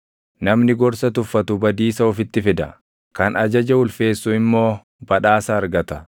Namni gorsa tuffatu badiisa ofitti fida; kan ajaja ulfeessu immoo badhaasa argata.